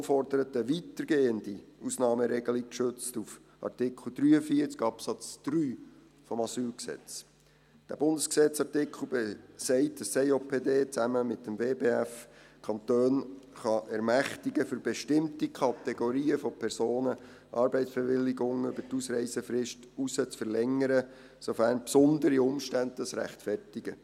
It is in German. Die Motion fordert eine weitergehende Ausnahmeregelung gestützt auf Artikel 43 Absatz 3 AsylG. Dieser Bundesgesetz-Artikel besagt, dass das Eidgenössische Justiz- und Polizeidepartement (EJPD) zusammen mit dem Departement für Wirtschaft, Bildung und Forschung (WBF) die Kantone ermächtigen kann, für bestimmte Kategorien von Personen Arbeitsbewilligungen über die Ausreisefrist hinaus zu verlängern, sofern besondere Umstände das rechtfertigen.